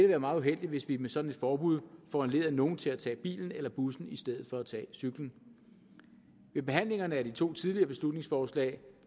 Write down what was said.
være meget uheldigt hvis vi med sådan et forbud foranlediger at nogle tager tager bilen eller bussen i stedet for at tage cyklen ved behandlingerne af de to tidligere beslutningsforslag